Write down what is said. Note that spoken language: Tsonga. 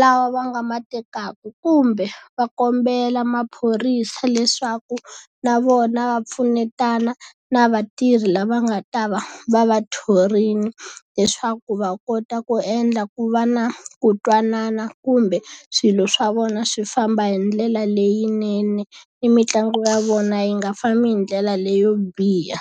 lawa va nga ma tekaka kumbe, va kombela maphorisa leswaku na vona va pfunetana na vatirhi lava nga ta va va va thorile, leswaku va kota ku endla ku va na ku twanana kumbe swilo swa vona swi famba hi ndlela leyinene, ni mitlangu ya vona yi nga fambi hi ndlela leyo biha.